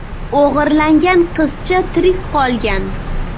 O‘g‘irlangan qizcha tirik qolgan.